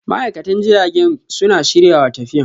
ma'aikatan jiragen suna shiryawa tafiyan.